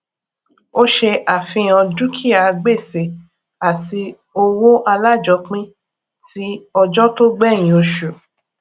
ó ṣe àfihàn dúkìá gbèsè àti owó alájọpín tí ọjọ tó gbẹyìn oṣù